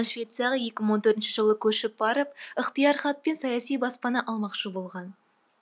швецияға екі мың он төртінші жылы көшіп барып ықтияр хат пен саяси баспана алмақшы болған